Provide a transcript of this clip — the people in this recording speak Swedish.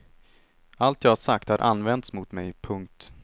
Allt jag sagt har använts mot mig. punkt